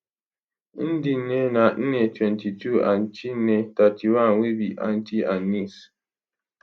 ndinne na nne 22 and chinne 31 wey be aunty and niece